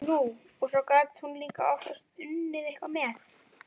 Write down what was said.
Nú, og svo gat hún líka oftast unnið eitthvað með.